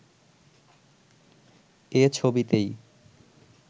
এ ছবিতেই